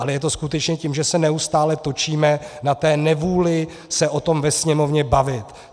Ale je to skutečně tím, že se neustále točíme na té nevůli se o tom ve Sněmovně bavit.